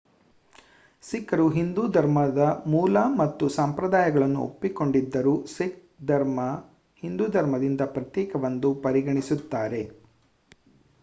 ಸಿಖ್ಖರು ಹಿಂದೂ ಧರ್ಮದ ಮೂಲ ಮತ್ತು ಸಂಪ್ರದಾಯಗಳನ್ನು ಒಪ್ಪಿಕೊಂಡಿದ್ದರೂ ಸಿಖ್ ಧರ್ಮ ಹಿಂದೂ ಧರ್ಮದಿಂದ ಪ್ರತ್ಯೇಕವೆಂದು ಪರಿಗಣಿಸುತ್ತಾರೆ